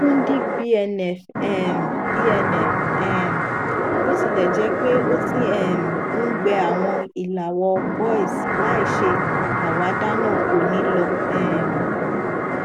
fudic bnf um bnf um botilẹjẹpe o ti um n gbẹ awọn ilàwọ boils láìṣe àwáda naa ko ni lọ um